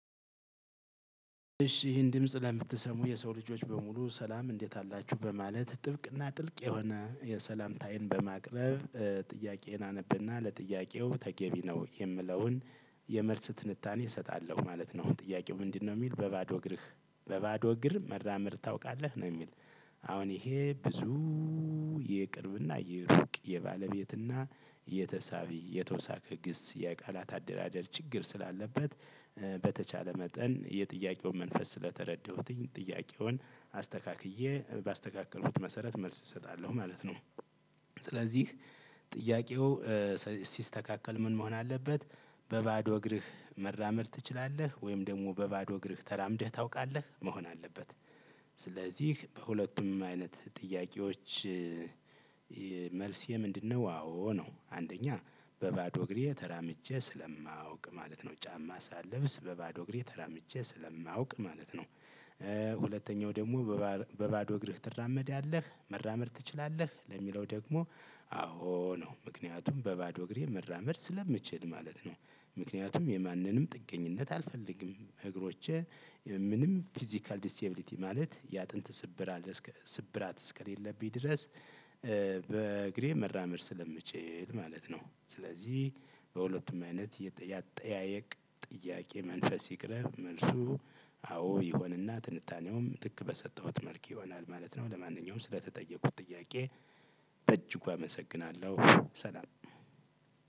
እሺ ይህን ድምጽ ለምትሰሙ የሰው ልጆች በሙሉ ሰላም እንዴት አላችሁ በማለት ጥብቅ እና ጥልቅ የሆነ የሰላምታዬን በማቅረብ ጥያቄዬን አነብና ለጥያቄው ተገቢ ነው የምለውን የመልስ ትንታኔ እሰጣለሁ ማለት ነው ጥያቄው ምንድነው? እሚል በባዶ እግርህ በባዶ እግር መራምር ታውቃለህ ነው እሚል? አሁን ይሄ ብዙ የቅርብ እና የሩቅ የባለቤትና የተሳቢ የተወሳከ ግስ የቃላት አደራደር ችግር ስላለበት በተቻለ መጠን የጥያቄውን መንፈስ ስለተረዳሁትኝ ጥያቄውን አስተካክዬ በአስተካከልኩት መሰረት መልስ እሰጣለሁ ማለት ነው። ስለዚህ ጥያቄው ሲ ሲስተካከል ምን መሆን አለበት በባዶ እግርህ መራመድ ትችላለህ ወይም ደሞ በባዶ እግርህ ተራምደህ ታውቃለህ መሆን አለበት? ስለዚህ በሁለቱም አይነት ጥያቄዎች የ መልሴ ምንድነው? አዎ ነው አንደኛ በባዶ እግሬ ተራምጄ ስለማውቅ ማለት ነው ጫማ ሳልብስ በባዶ እግሬ ተራምጄ ስለማውቅ ማለት ነው። ሁለተኛው ደሞ በባ በባዶ እግርህ ትራመዳለህ መራመድ ትችላለህ ለሚለው ደግሞ አዎ ነው ምክንያቱም በባዶ እግሬ መራመድ ስለምችል ማለት ነው። ምክንያቱም የማንንም ጥገኝነት አልፈልግም እግሮቼ ምንም ፊዚካል ዲስቴብሊቲ ማለት የአጥንት ስብራት እስከ እስከሌለብኝ ድረስ በእግሬ መራመድ ስለምችል ማለት ነው። ስለዚህ በሁለቱም አይነት የጠ የአጠያየቅ ጥያቄ መንፈስ ይቅረብ መልሱ አዎ ይሆን እና ትንታኔውም ትክ በሰጠሁት መልክ ይሆናል ማለት ነው። ለማንኛውም ስለተጠየኩት ጥያቄ በእጅጉ አመሰግናለሁ። ሰላም